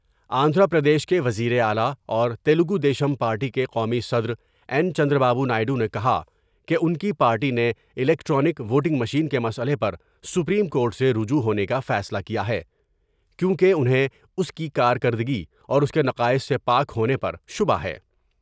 آندھرا پردیش کے وزیراعلی اور تیلگودیشم پارٹی کے قومی صدراین چند را بابونائیڈو نے کہا کہ ان کی پارٹی نے الیکٹرانک ووٹنگ مشین کے مسئلے پر سپریم کورٹ سے رجوع ہونے کا فیصلہ کیا ہے کیوں کہ انہیں اس کی کارکردگی اور اس کے نقائص سے پاک ہونے پر شبہ ہے ۔